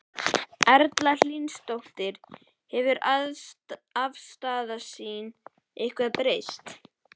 Erla Hlynsdóttir: Hefur afstaða þín eitthvað breyst?